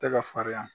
Tɛ ka farinya